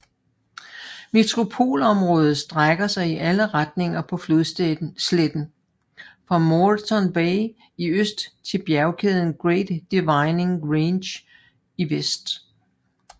Metropolområdet strækker sig i alle retninger på flodsletten fra Moreton Bay i øst til bjergkæden Great Dividing Range i vest